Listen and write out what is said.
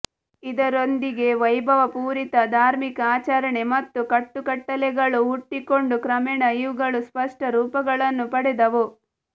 ಇದರೊಂದಿಗೆ ವೈಭವಪೂರಿತ ಧಾರ್ಮಿಕ ಆಚರಣೆ ಮತ್ತು ಕಟ್ಟುಕಟ್ಟಳೆಗಳು ಹುಟ್ಟಿಕೊಂಡು ಕ್ರಮೇಣ ಇವುಗಳು ಸ್ಪಷ್ಟ ರೂಪಗಳನ್ನು ಪಡೆದವು